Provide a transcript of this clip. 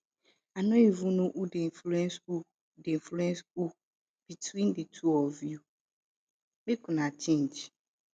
i no even know who dey influence who dey influence who between the two of you make una change